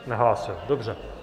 Nehlásil, dobře.